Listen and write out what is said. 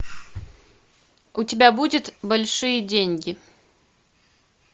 у тебя будет большие деньги